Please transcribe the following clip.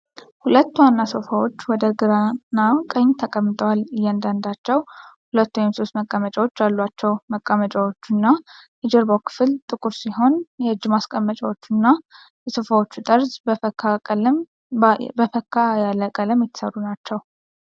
ሁለት ዋና ሶፋዎች ወደ ግራና ቀኝ ተቀምጠዋል፣ እያንዳንዳቸው ሁለት ወይም ሶስት መቀመጫዎች አሏቸው። መቀመጫዎቹና የጀርባው ክፍል ጥቁር ሲሆን፣ የእጅ ማስቀመጫዎቹና የሶፋዎቹ ጠርዝ በፈካ ያለ ቀለም የተሠሩ ናቸው።